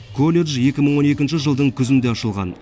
колледж екі мың он екінші жылдың күзінде ашылған